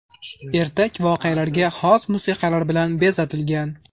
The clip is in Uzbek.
Ertak voqealarga xos musiqalar bilan bezatilgan.